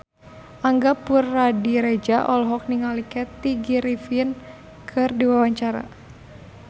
Angga Puradiredja olohok ningali Kathy Griffin keur diwawancara